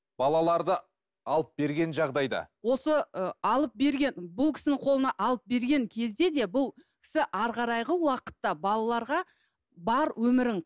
балаларды алып берген жағдайда осы ы алып берген бұл кісінің қолына алып берген кезде де бұл кісі әрі қарайғы уақытты балаларға бар өмірін